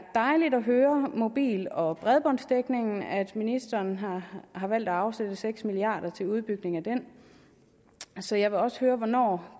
dejligt at høre om mobil og bredbåndsdækningen nemlig at ministeren har har valgt at afsætte seks milliard kroner til udbygning af den så jeg vil også høre hvornår